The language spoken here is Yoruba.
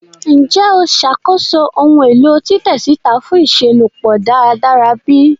Njẹ o ṣakoso ohun elo titẹ sita fun iṣelọpọ daradara bi?